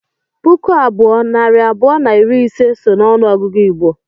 puku abụọ, nari abụọ na iri ise so n’ọnụọgụgụ Igbo